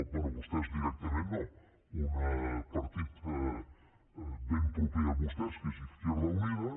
bé vostès directament no un partit ben proper a vostès que és izquierda unida